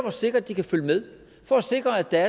at sikre at de kan følge med for at sikre at der